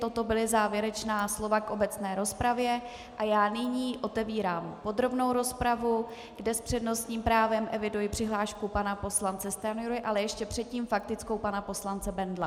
Toto byla závěrečná slova k obecné rozpravě a já nyní otevírám podrobnou rozpravu, kde s přednostním právem eviduji přihlášku pana poslance Stanjury, ale ještě předtím faktickou pana poslance Bendla.